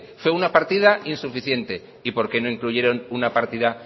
fue una partida insuficiente y por qué no incluyeron una partida